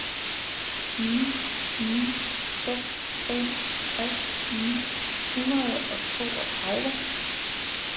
ni ni seks fem tres ni hundrede og toogtredive